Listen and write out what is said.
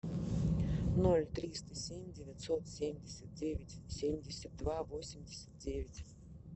ноль триста семь девятьсот семьдесят девять семьдесят два восемьдесят девять